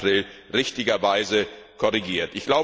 2. April richtigerweise korrigiert.